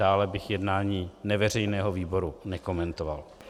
Dále bych jednání neveřejného výboru nekomentoval.